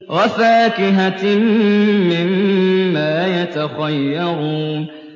وَفَاكِهَةٍ مِّمَّا يَتَخَيَّرُونَ